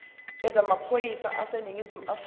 yezamaphoyisa aseningizimu afrika